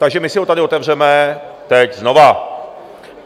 Takže my si ho tady otevřeme teď znovu.